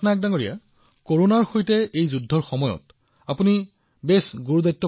পাটনায়কজী কৰোনাৰ সৈতে যুঁজৰ সময়ত আপুনি এক বৃহৎ দায়িত্ব চম্ভালি আছে